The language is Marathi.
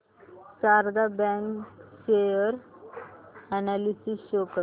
Sharda bank share analysis show कर